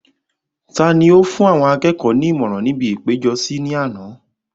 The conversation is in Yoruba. ta ni ó fún àwọn akẹ́kọ̀ọ́ ní ìmọ̀ràn ní ibi ìpéjọsí ní àná?